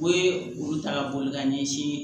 Ko ye olu ta ka boli ka ɲɛsin